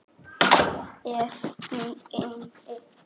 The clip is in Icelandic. Er hún inni?